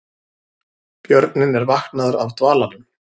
Björninn er vaknaður af dvalanum